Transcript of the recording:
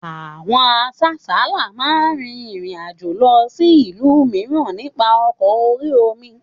Àwọn asáàsálá náà máa rin ìrìn àjò lọ sí ìlú mìíràn nípa ọkọ̀ orí-omi